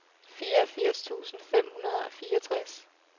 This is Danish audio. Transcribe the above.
fireogfirs tusind fem hundrede og fireogtres